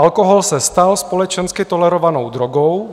Alkohol se stal společensky tolerovanou drogou.